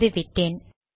வந்து விட்டேன்